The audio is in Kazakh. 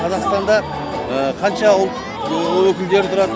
қазақстанда қанша ұлт өкілдері тұрады